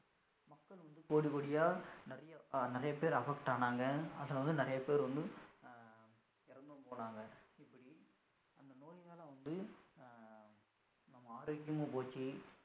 கோடி கோடியா நிறைய நிறைய பேர் affect ஆனங்க நிறைய பேர் வந்து இறந்தும் போனாங்க இப்படி இந்த நோய்யினால வந்து நாடே போச்சி